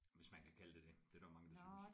Hvis man kan kalde det det. Det er der jo mange der synes